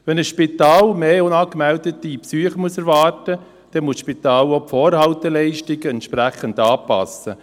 Wenn ein Spital mehr unangemeldete Besuche erwarten muss, muss das Spital auch die Vorhalteleistungen entsprechend anpassen.